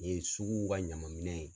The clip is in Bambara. Nin ye suguw ka ɲaman minɛ ye.